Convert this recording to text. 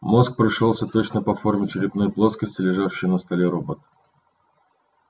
мозг пришёлся точно по форме черепной плоскости лежавшего на столе робота